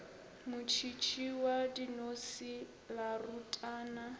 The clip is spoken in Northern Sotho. motšhitšhi wa dinose la rutana